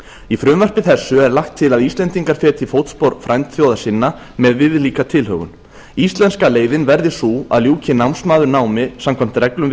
í frumvarpi þessu er lagt til að íslendingar feti í fótspor frændþjóða sinna með viðlíka tilhögun íslenska leiðin verði sú að ljúki námsmaður námi samkvæmt reglum